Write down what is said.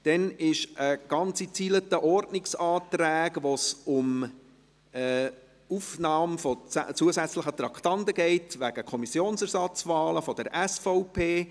Bei einer ganzen Reihe von Ordnungsanträgen geht es um die Aufnahme zusätzlicher Traktanden wegen Kommissionsersatzwahlen der SVP.